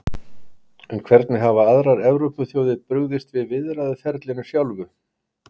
En hvernig hafa aðrar Evrópuþjóðir brugðist við í viðræðuferlinu sjálfu?